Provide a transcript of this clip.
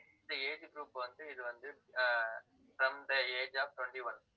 இந்த age group வந்து, இது வந்து, ஆஹ் from the age of twenty-one